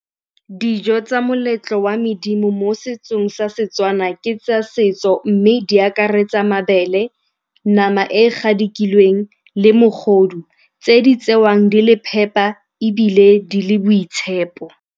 Dijo tsa moletlo wa medimo mo setsong sa Setswana ke tsa setso mme di akaretsa mabele, nama e e gadikilweng le mogodu tse di tsewang di le phepa ebile di le boitshepo.